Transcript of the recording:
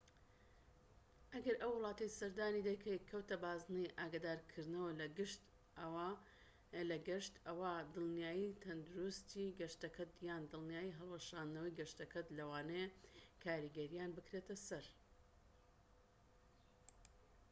ئەگەر ئەو وڵاتەی سەردانی دەکەیت کەوتە بازنەی ئاگادارکردنەوە لە گەشت ئەوا دڵنیایی تەندروستیی گەشتەکەت یان دڵنیایی هەڵوەشاندنەوەی گەشتەکەت لەوانەیە کاریگەرییان بکرێتە سەر